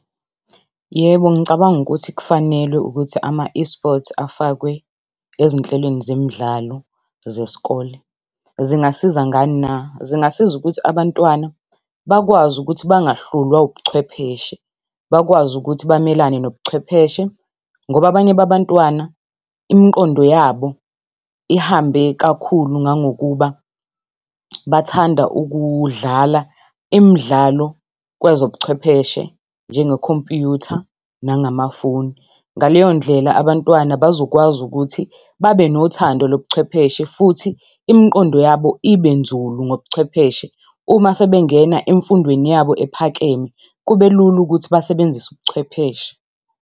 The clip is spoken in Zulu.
Yebo, ngicabanga ukuthi kufanele ukuthi ama-eSports afakwe ezinhlelweni zemidlalo zesikole. Zingasiza ngani na? Zingasiza ukuthi abantwana bakwazi ukuthi bangahlulwa ubuchwepheshe, bakwazi ukuthi bamelane nobuchwepheshe. Ngoba abanye babantwana, imiqondo yabo ihambe kakhulu ngangokuba bathanda ukudlala imidlalo kwezobuchwepheshe njengokhompuyutha nangamafoni. Ngaleyo ndlela abantwana bazokwazi ukuthi babe nothando lobuchwepheshe futhi imiqondo yabo ibe nzulu ngobuchwepheshe. Uma sebengena emfundweni yabo ephakeme kube lula ukuthi basebenzise ubuchwepheshe.